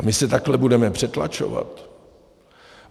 A my se takhle budeme přetlačovat?